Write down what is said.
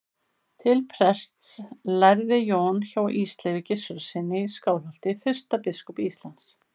Til prests lærði Jón hjá Ísleifi Gissurarsyni í Skálholti, fyrsta biskupi Íslands.